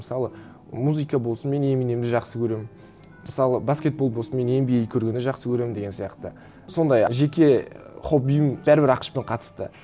мысалы музыка болсын мен эминемді жақсы көремін мысалы баскетбол болсын мен эн би эй көргенді жақсы көремін деген сияқты сондай жеке хоббиім бәрібір ақш пен қатысты